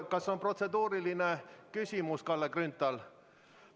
Kas on protseduuriline küsimus, Kalle Grünthal?